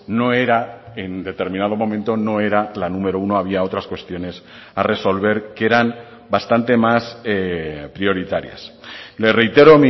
no era en determinado momento no era la número uno había otras cuestiones a resolver que eran bastante más prioritarias le reitero